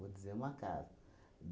Vou dizer uma casa.